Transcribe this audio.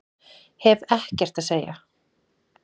Hef ekkert að segja